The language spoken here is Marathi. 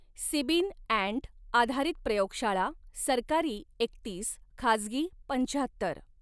सीबीन अँट आधारित प्रयोगशाळा सरकारी एकतीस खाजगी पंचाहत्तर